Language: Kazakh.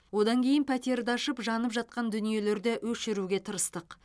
одан кейін пәтерді ашып жанып жатқан дүниелерді өшіруге тырыстық